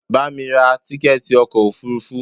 Bamí ra tíkẹ̀ẹ̀ti ọkò òfurufú!